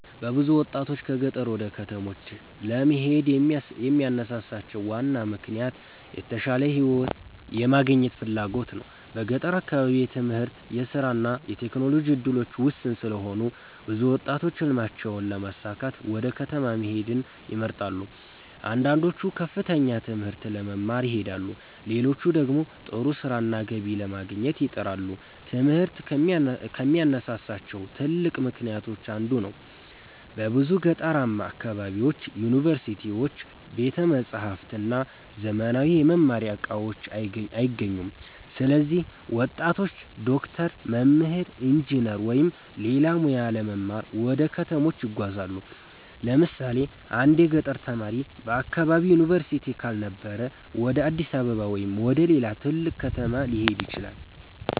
ብዙ ወጣቶች ከገጠር ወደ ከተሞች ለመሄድ የሚያነሳሳቸው ዋና ምክንያት የተሻለ ሕይወት የማግኘት ፍላጎት ነው። በገጠር አካባቢ የትምህርት፣ የሥራ እና የቴክኖሎጂ እድሎች ውስን ስለሆኑ ብዙ ወጣቶች ሕልማቸውን ለማሳካት ወደ ከተማ መሄድን ይመርጣሉ። አንዳንዶቹ ከፍተኛ ትምህርት ለመማር ይሄዳሉ፣ ሌሎች ደግሞ ጥሩ ሥራና ገቢ ለማግኘት ይጥራሉ። ትምህርት ከሚያነሳሳቸው ትልቅ ምክንያቶች አንዱ ነው። በብዙ ገጠራማ አካባቢዎች ዩኒቨርሲቲዎች፣ ቤተ መጻሕፍት እና ዘመናዊ የመማሪያ እቃዎች አይገኙም። ስለዚህ ወጣቶች ዶክተር፣ መምህር፣ ኢንጂነር ወይም ሌላ ሙያ ለመማር ወደ ከተሞች ይጓዛሉ። ለምሳሌ አንድ የገጠር ተማሪ በአካባቢው ዩኒቨርሲቲ ካልነበረ ወደ አዲስ አበባ ወይም ወደ ሌላ ትልቅ ከተማ ሊሄድ ይችላል።